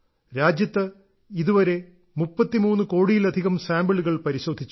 രാജ്യത്ത് ഇതുവരെ 33 കോടിയിലധികം സാമ്പിളുകൾ പരിശോധിച്ചു